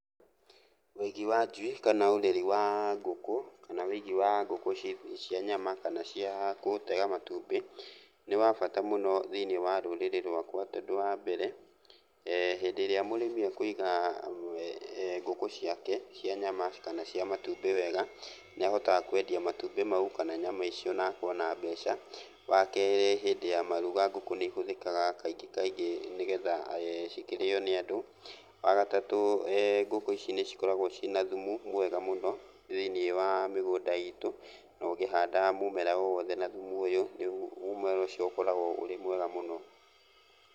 Wĩigi wa njui kana ũreri wa ngũkũ kana wĩigi wa ngũkũ cia nyama kana cia gũtega matumbĩ, nĩ wa bata mũno thĩiniĩ wa rũrĩrĩ rwakwa tondũ wambere, hĩndĩ ĩrĩa mũrĩmi ekũiga ngũkũ ciake cia nyama kana cia matumbĩ wega, nĩahotaga kwendia matumbĩ mau kana nyama icio na akona mbeca. Wakerĩ hĩndĩ ya maruga ngũkũ nĩihũthĩkaga kaingĩ kaingĩ nĩgetha cikĩrĩo nĩ andũ. Wagatatũ ngũkũ ici nĩcikoragwo ciĩna thumu mwega mũno, thĩiniĩ wa mĩgũnda itũ na ũngĩhanda mũmera o wothe na thumu ũyũ mũmera ũcio ũkoragwo ũrĩ mwega mũno.